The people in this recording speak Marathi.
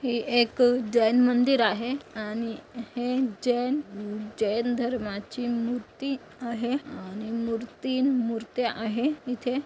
ही एक जैन मंदिर आहे आणि हे जैन जैन धर्माची मूर्ति आहे आणि मूर्तीन मुर्त्या आहे इथे.